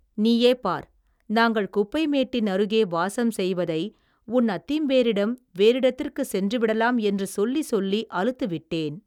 நீயே பார் நாங்கள் குப்பை மேட்டின் அருகே வாசம் செய்வதை உன் அத்திம்பேரிடம் வேறிடத்திற்குச் சென்று விடலாம் என்று சொல்லிச் சொல்லி அலுத்து விட்டேன்.